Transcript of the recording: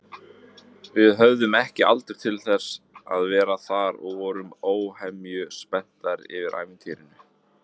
Við höfðum ekki aldur til að vera þar og vorum óhemju spenntar yfir ævintýrinu.